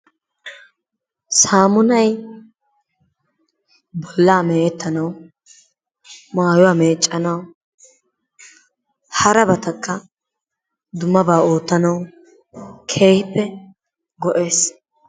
Saamunay bollaa me'eetanaw, maayuwa meecanaw, harabatakka dummaba oottanaw keehippe go"ees.